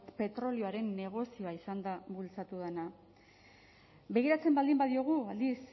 petrolioaren negozioa izan da bultzatu dena begiratzen baldin badiogu aldiz